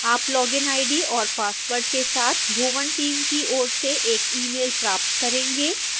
आप login id और password के साथ bhuvan टीम की ओर से एक ईमेल प्राप्त करेंगे